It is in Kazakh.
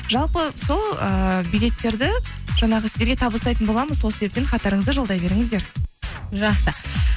жалпы сол ыыы билеттерді жаңағы сіздерге табыстайтын боламыз сол себептен хаттарыңызды жолдай беріңіздер жақсы